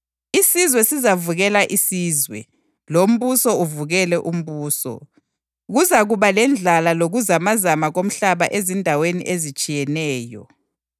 Isizwe sizavukela isizwe, lombuso uvukele umbuso. Kuzakuba lendlala lokuzamazama komhlaba ezindaweni ezitshiyeneyo.